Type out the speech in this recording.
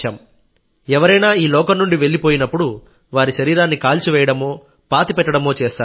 ఎవరైనా ఈ లోకం నుండి వెళ్ళిపోయినప్పుడు వారి శరీరాన్ని కాల్చివేయడమో పాతిపెట్టడమో చేస్తారు